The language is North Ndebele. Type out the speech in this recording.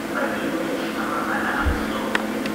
ibhaliwe ngamabala amhlophe